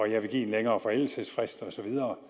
jeg vil give en længere forældelsesfrist osv